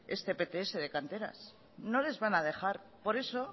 este pts de canteras no les van a dejar por eso